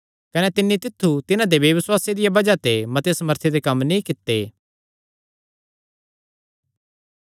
कने तिन्नी तित्थु तिन्हां दे बेबसुआसे दिया बज़ाह ते मते सामर्थी दे कम्म नीं कित्ते